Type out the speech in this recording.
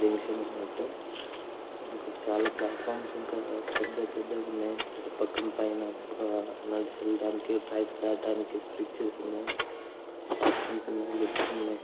Junction మొత్తం అక్కడ చాలా ప్లాట్ ఫర్మ్స్ ఉంటాయ్ పెద్ద పెద్దగున్నాయ్ చుట్టూపక్కన పైన కూడా నడిచి వెళ్ళడానికి ట్రైన్స్ దాటనకి బ్రిడ్జ్ వాష్రూమ్స్ ఉన్నాయ్ లిఫ్ట్స్ ఉన్నాయ్.